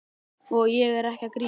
Og ég er ekki að grínast.